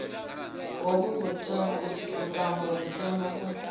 hovhu vhuṱambo ri tama u